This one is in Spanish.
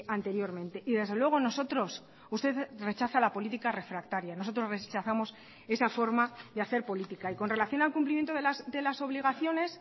anteriormente y desde luego nosotros usted rechaza la política refractaria nosotros rechazamos esa forma de hacer política y con relación al cumplimiento de las obligaciones